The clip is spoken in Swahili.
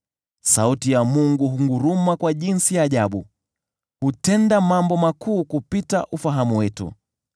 Sauti ya Mungu hunguruma kwa namna za ajabu; yeye hutenda mambo makuu kupita ufahamu wetu.